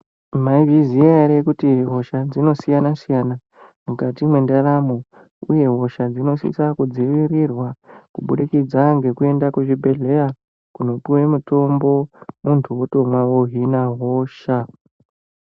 Mwaizviziya ere kuti hosha dzinosiyana siyana mukati mwendaramo uye hosha dzinosisa kudzivirirwa kubudikidza ngekuenda kuzvibhedhlera kunopuwe mitombo muntu wotomwa wohina hosha .